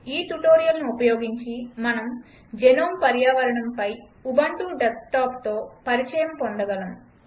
ఈ ట్యుటోరియల్ను ఉపయోగించి మనము జెనోమ్ పర్యావరణంపై ఉబంటు డెస్క్టాప్తో పరిచయం పొందగలము